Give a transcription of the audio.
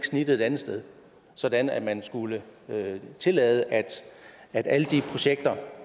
snittet et andet sted sådan at man skulle tillade at at alle de projekter